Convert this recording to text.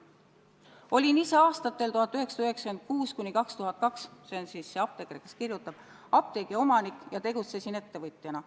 Ma olin aastatel 1996–2002 apteegiomanik ja tegutsesin ettevõtjana.